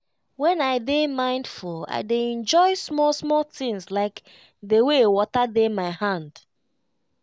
when i dey mindful i dey enjoy small small things like the way water dey my hand.